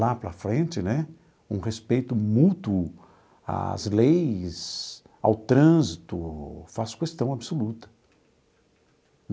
Lá para frente né, um respeito mútuo às leis, ao trânsito, faço questão absoluta.